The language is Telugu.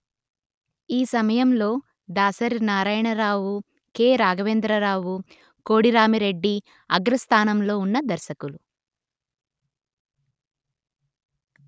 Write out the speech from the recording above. ఈ సమయంలో దాసరి నారాయణరావు కె.రాఘవేంద్రరావు కోడిరామి రెడ్డి అగ్రస్థానంలో ఉన్న దర్శకులు